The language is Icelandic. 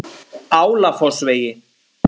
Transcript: Álafossvegi